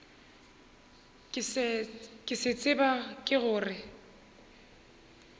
ke se tseba ke gore